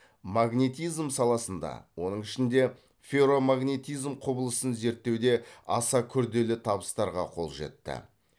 магнетизм саласында оның ішінде ферромагнетизм құбылысын зерттеуде аса күрделі табыстарға қол жетті